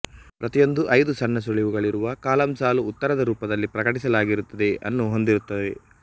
ಪ್ರತಿಯೊಂದು ಐದು ಸಣ್ಣ ಸುಳಿವುಗಳಿರುವ ಕಾಲಂಸಾಲುಉತ್ತರದ ರೂಪದಲ್ಲಿ ಪ್ರಕಟಿಸಲಾಗಿರುತ್ತದೆ ಅನ್ನು ಹೊಂದಿರುತ್ತವೆ